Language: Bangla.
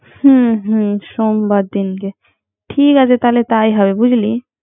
হুম হুম সোববার দিনটে। ঠিক আছে তা্হলে তাই হয়